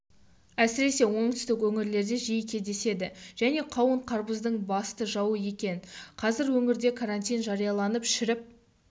әсіресе оңтүстік өңірлерде жиі кездеседі және қауын-қарбыздың басты жауы екен қазір өңірде карантин жарияланып шіріп